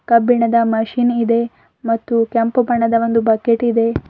ಕಬ್ಬಿಣದ ಮಷೀನ್ ಇದೆ ಮತ್ತು ಕೆಂಪು ಬಣ್ಣದ ಒಂದು ಬಕೆಟ್ ಇದೆ.